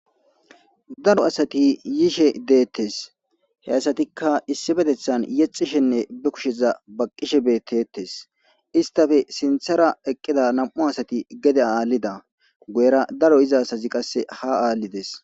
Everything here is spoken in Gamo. Daro assati yishe betesi. He assatikka issipetethani yexishenne kushe bakishe betesi. Isitappe sinithara nam'u assati gede haa hanida